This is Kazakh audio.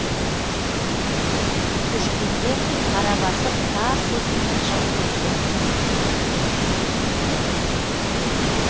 көшкенде қара басып тарс есімнен шығып кеткен